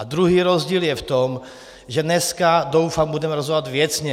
A druhý rozdíl je v tom, že dneska, doufám, budeme rozhodovat věcně.